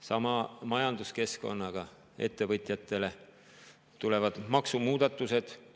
Sama on majanduskeskkonnaga, ettevõtjatele tulevad nüüd maksumuudatused.